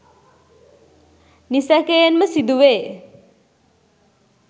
නිසැකයෙන්ම සිදුවේ